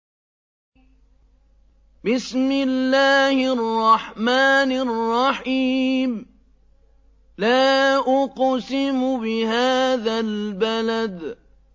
لَا أُقْسِمُ بِهَٰذَا الْبَلَدِ